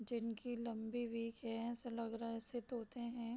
जिनकी लम्बी बीक है ऐसा लग रहा है जैसे तोते हैं |